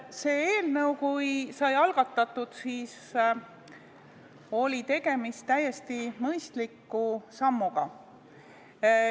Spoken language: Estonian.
Kui see eelnõu sai algatatud, siis oli tegemist täiesti mõistliku sammuga.